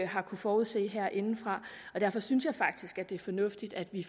har kunnet forudse herindefra derfor synes jeg faktisk det er fornuftigt at vi